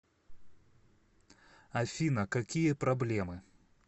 афина какие проблемы